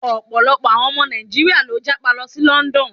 Ọ̀pọ̀lọpọ̀ àwọn ọmọ Nàíjíríà ló ń jápa lọ sí London.